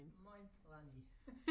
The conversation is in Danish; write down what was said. Mojn Randi